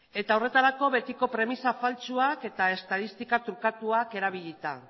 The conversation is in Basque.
eta horretarako betiko premisa faltsuak eta estatistika trukatuak erabilita